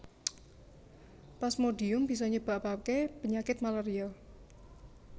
Plasmodium bisa nyebabaké penyakit malaria